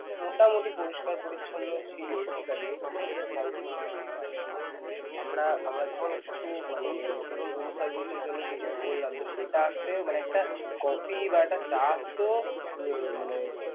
মোটামুটি পরিষ্কার পরিছন্ন ছিল ঠিক আছে কিন্তু hotel এর service খুবই বাজে এই ধরুন আমারা আমরা যখন কিছু মানে~ ধরুন room service এর জন্য কিছু বললাম তো সেটা আসতে মানে একটা coffee বা একটা চা আসতেও উম মানে